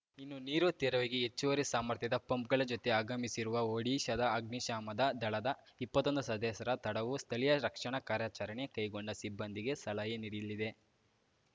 ಇನ್ನು ನೀರು ತೆರವಿಗೆ ಹೆಚ್ಚುವರಿ ಸಾಮರ್ಥ್ಯದ ಪಂಪ್‌ಗಳ ಜೊತೆ ಆಗಮಿಸಿರುವ ಒಡಿಶಾದ ಅಗ್ನಿಶಾಮದ ದಳದ ಇಪ್ಪತ್ತೊಂದು ಸದಸ್ಯರ ತಡವು ಸ್ಥಳೀಯ ರಕ್ಷಣಾ ಕಾರ್ಯಾಚರಣೆ ಕೈಗೊಂಡ ಸಿಬ್ಬಂದಿಗೆ ಸಲಹೆ ನೀಡಲಿದೆ